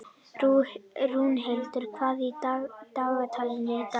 Rúnhildur, hvað er í dagatalinu í dag?